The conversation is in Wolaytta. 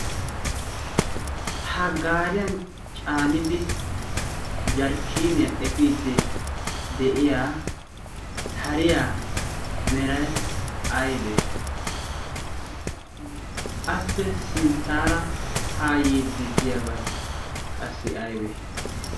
ha gaariyan caanidi jarkkiniyaa epiiddi de'iya hariya merai aibee appe sinttaara haa yiiddi diyaabay qassi aybee?